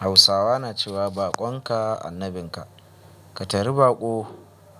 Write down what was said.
Hausawa na cewa baƙonka annabinka. Ka tari baƙo,